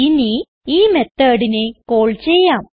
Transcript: ഇനി ഈ methodനെ കാൾ ചെയ്യാം